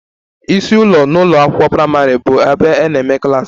Isi ụlọ n'ụlọ akwụkwọ praịmarị bụ ebe a na-eme klas